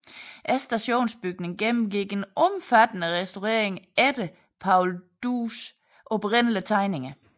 Stationsbygningen gennemgik en omfattende restaurering efter Paul Dues oprindelige tegninger